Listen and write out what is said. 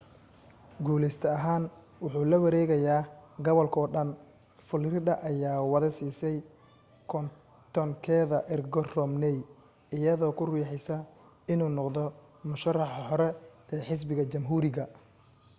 guuleyste ahaan wuxuu lawareegaayaa gobalkoo dhan florida ayaa wada siisay kontonkeeda ergo romney iyadoo ku riixaysa inuu noqdo murashaxa hore ee xisbiga jamhuuriga